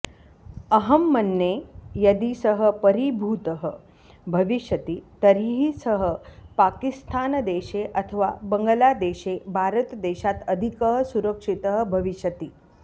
अहं मन्ये यदि सः परिभूतः भविष्यति तर्हि सः पकिस्तानदेशे अथवा बङ्गलादेशे भारतदेशात् अधिकः सुरक्षितः भविष्यति